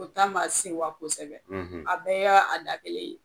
O ta ma senwa kosɛbɛ , a bɛɛ y'o da kelen ye.